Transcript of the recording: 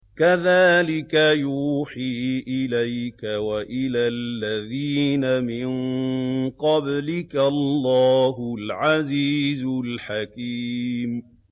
كَذَٰلِكَ يُوحِي إِلَيْكَ وَإِلَى الَّذِينَ مِن قَبْلِكَ اللَّهُ الْعَزِيزُ الْحَكِيمُ